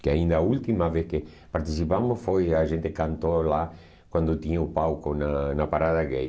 Que ainda a última vez que participamos foi... A gente cantou lá quando tinha o palco na na Parada Gay.